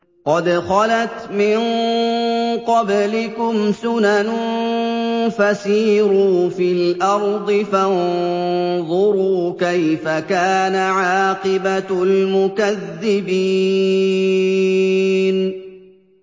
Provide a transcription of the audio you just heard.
قَدْ خَلَتْ مِن قَبْلِكُمْ سُنَنٌ فَسِيرُوا فِي الْأَرْضِ فَانظُرُوا كَيْفَ كَانَ عَاقِبَةُ الْمُكَذِّبِينَ